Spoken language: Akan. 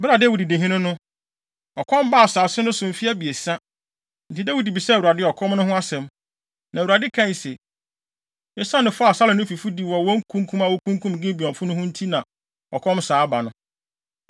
Bere a Dawid di hene no, ɔkɔm baa asase no so mfe abiɛsa, enti Dawid bisaa Awurade ɔkɔm no ho asɛm. Na Awurade kae se, “Esiane fɔ a Saulo ne ne fifo di wɔ kunkum a wokunkum Gibeonfo no ho nti na ɔkɔm saa aba no.”